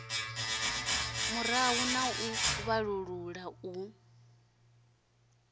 murahu ha u vhalulula u